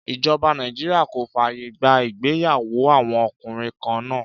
Ìjọba Nàìjíríà kò fàyè gba ìgbéyàwó àwọn ọkùnrin kan náà.